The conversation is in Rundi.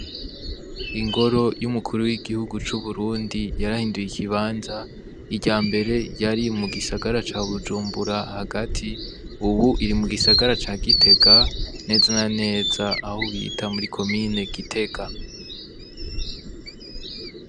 Ingoro y' umukuru w' igihugu c'Uburundi yarahinduye ikibanza iryambere yari mu gisagara ca Bujumbura hagati ubu iri mu gisagara ca Gitega neza na neza aho bita muri komine Gitega.